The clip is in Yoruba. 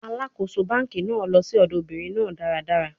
Alakoso banki naa lọ si ọdọ obinrin naa daradara